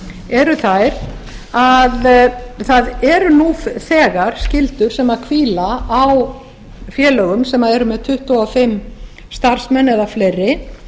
eru þær að það eru nú þegar skyldur sem hvíla á félögum sem eru með tuttugu og fimm starfsmenn eða fleiri